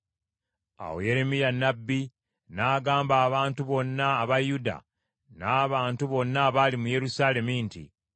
Awo Yeremiya nnabbi n’agamba abantu bonna aba Yuda n’abantu bonna abaali mu Yerusaalemi nti,